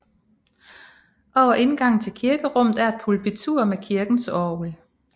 Over indgangen til kirkerummet er et pulpitur med kirkens orgel